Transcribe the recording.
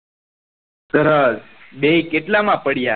સરસ બેઈ કેટલા માં પડ્યા